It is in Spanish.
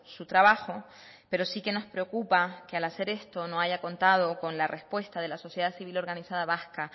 su trabajo pero sí que nos preocupa que al hacer esto no haya contado con la respuesta de la sociedad civil organizada vasca